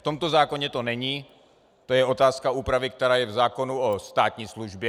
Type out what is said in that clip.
V tomto zákonu to není, to je otázka úpravy, která je v zákonu o státní službě.